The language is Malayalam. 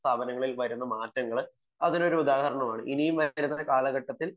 വിദ്യാഭ്യാസ സ്ഥാപനങ്ങളിൽ വരുന്ന മാറ്റങ്ങൾ അതിനു ഒരു ഉദാഹരണമാണ് ഇനിയും വരുന്ന കാലഘട്ടത്തിൽ